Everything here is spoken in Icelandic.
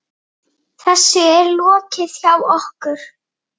Þessu er lokið hjá okkur.